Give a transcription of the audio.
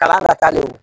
Kalan nata le